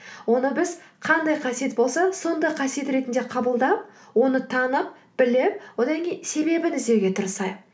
оны біз қандай қасиет болса сондай қасиет ретінде қабылдап оны танып біліп одан кейін себебін іздеуге тырысайық